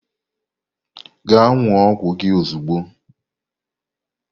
Gaa nnúo ọgwụ gị ozugbo!